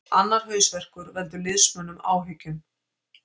Annar hausverkur veldur liðsmönnum áhyggjum